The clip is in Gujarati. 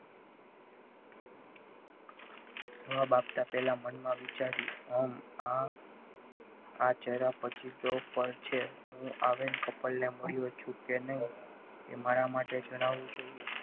જવાબ આપતા પહેલા મનમાં વિચાર્યું ઓમ આમ આ જરા પછી તો પર છે આવીને couple ને મળ્યો છું કે નહીં એ મારા માટે જણાવવું જોઈએ.